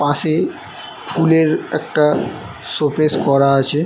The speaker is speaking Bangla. পাশে ফুলের একটা শোকেস করা আছে।